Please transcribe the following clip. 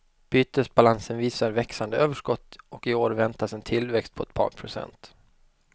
Bytesbalansen visar växande överskott och i år väntas en tillväxt på ett par procent.